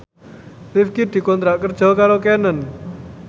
Rifqi dikontrak kerja karo Canon